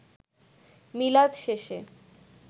মিলাদ শেষে